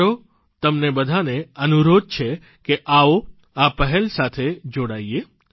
મારો તમને બધાને અનુરોધ છે કે આવો આ પહેલ સાથે જોડાઇએ